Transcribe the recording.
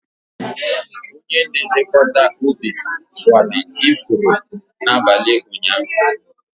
Onye na-elekọta ubi kwara ifuru n'abalị ụnyaahụ.